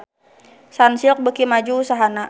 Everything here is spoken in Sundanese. Sunsilk beuki maju usahana